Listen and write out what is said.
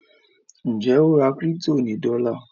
Njé o rà crypto ní dola?